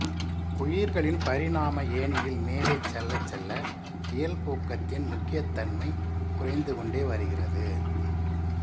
உயிர்களின் பரிணாம ஏணியில் மேலே செல்லச்செல்ல இயல்பூக்கத்தின் முக்கியத்தன்மை குறைந்துகொண்டே வருகிறது